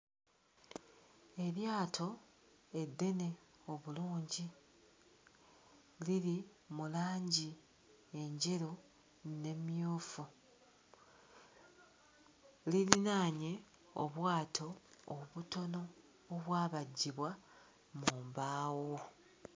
Eryato eddene obulungi liri mu langi enjeru n'emmyufu lirinaanye obwato obutono obwabajjibwa mu mbaawo.